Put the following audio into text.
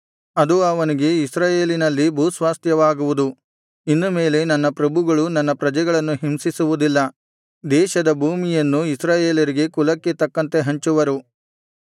ಅದು ಅವನಿಗೆ ಇಸ್ರಾಯೇಲಿನಲ್ಲಿ ಭೂಸ್ವಾಸ್ತ್ಯವಾಗುವುದು ಇನ್ನು ಮೇಲೆ ನನ್ನ ಪ್ರಭುಗಳು ನನ್ನ ಪ್ರಜೆಗಳನ್ನು ಹಿಂಸಿಸುವುದಿಲ್ಲ ದೇಶದ ಭೂಮಿಯನ್ನು ಇಸ್ರಾಯೇಲರಿಗೆ ಕುಲಕ್ಕೆ ತಕ್ಕಂತೆ ಹಂಚುವರು